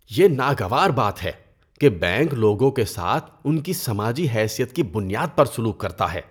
یہ ناگوار بات ہے کہ بینک لوگوں کے ساتھ ان کی سماجی حیثیت کی بنیاد پر سلوک کرتا ہے۔